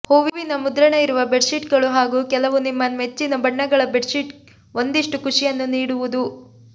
ಹೂವಿನ ಮುದ್ರಣ ಇರುವ ಬೆಡ್ಶೀಟ್ಗಳು ಹಾಗೂ ಕೆಲವು ನಿಮ್ಮ ಮೆಚ್ಚಿನ ಬಣ್ಣಗಳ ಬೆಡ್ಶೀಟ್ ಒಂದಿಷ್ಟು ಖುಷಿಯನ್ನು ನೀಡುವುದು